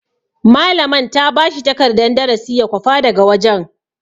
Malaman ta bashi takardan darasi ya kwafa daga wajen.